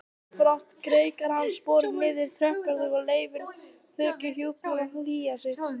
Ósjálfrátt greikkar hann sporið niður tröppurnar og leyfir þokuhjúpnum að hylja sig.